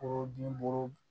Ko binburu